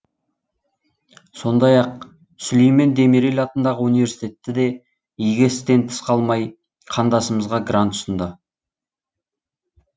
сондай ақ сүлеймен демирель атындағы университетті де игі істен тыс қалмай қандасымызға грант ұсынды